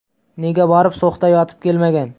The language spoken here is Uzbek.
Nega borib So‘xda yotib kelmagan?!